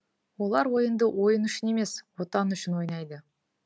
олар ойынды ойын үшін емес отан үшін ойнайды